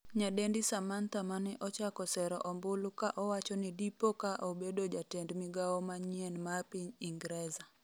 nyadendi Samantha mane ochako sero ombulu ka owacho ni dipo ka obedo jatend migawo manyien ma piny Ingreza